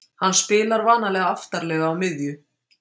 Hann spilar vanalega aftarlega á miðju.